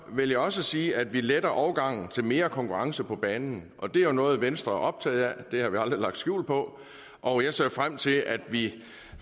vil jeg også sige at vi letter overgangen til mere konkurrence på banen det er jo noget venstre er optaget af det har vi aldrig lagt skjul på og jeg ser frem til at vi